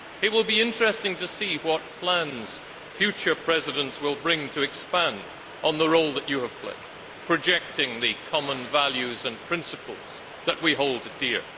It will be interesting to see what plans future presidents will bring to expand on the role that you have played, projecting the common values and principles that we hold dear.